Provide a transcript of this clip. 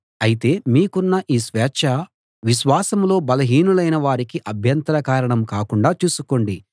అయితే మీకున్న ఈ స్వేచ్ఛ విశ్వాసంలో బలహీనులైన వారికి అభ్యంతర కారణం కాకుండా చూసుకోండి